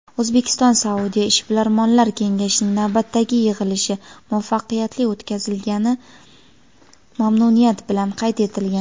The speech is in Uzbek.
O‘zbekiston-Saudiya Ishbilarmonlar kengashining navbatdagi yig‘ilishi muvaffaqiyatli o‘tkazilgani mamnuniyat bilan qayd etilgan.